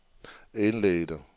indledte